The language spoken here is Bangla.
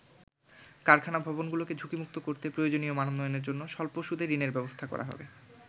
কারখানা ভবনগুলোকে ঝুঁকিমুক্ত করতে প্রয়োজনীয় মানোন্নয়নের জন্য স্বল্প সুদে ঋণের ব্যবস্থা করা হবে।